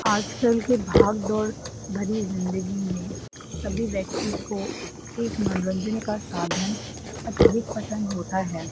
आज-कल के भाग दौड़ भरी जिंदगी में सभी व्यक्ति को एक मनोरंजन का साधन अत्यधिक पसन् होता है।